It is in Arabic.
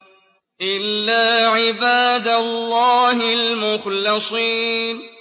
إِلَّا عِبَادَ اللَّهِ الْمُخْلَصِينَ